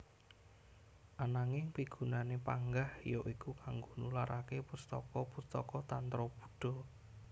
Ananging pigunané panggah ya iku kanggo nularaké pustaka pustaka tantra Buddha